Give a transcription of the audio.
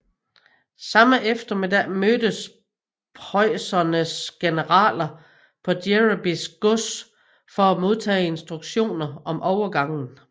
Samme eftermiddag mødtes preussernes generaler på Gereby gods for at modtage instruktioner om overgangen